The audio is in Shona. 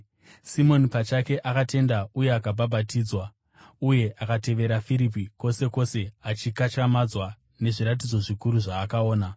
Simoni pachake akatenda uye akabhabhatidzwa. Uye akatevera Firipi kwose kwose, achikatyamadzwa nezviratidzo zvikuru zvaakaona.